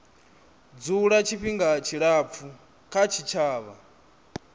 dzula tshifhinga tshilapfu kha tshitshavha